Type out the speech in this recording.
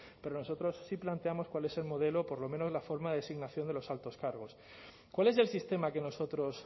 pero nosotros si planteamos cuál es el modelo por lo menos la forma de designación de los altos cargos cuál es el sistema que nosotros